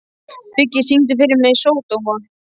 Biggi, syngdu fyrir mig „Sódóma“.